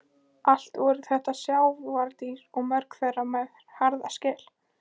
Allt voru þetta sjávardýr og mörg þeirra með harða skel.